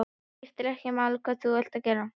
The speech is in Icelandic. Það skiptir ekki máli hvað þú ert að gera.